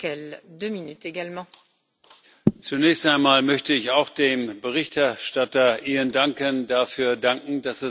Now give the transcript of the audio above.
Frau Präsidentin! Zunächst einmal möchte ich auch dem Berichterstatter Ian Duncan dafür danken, dass er sich so eingesetzt hat.